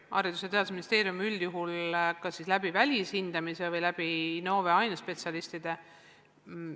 Haridus- ja Teadusministeerium teeb üldjuhul kas siis välishindamise või kasutab Innove ainespetsialiste.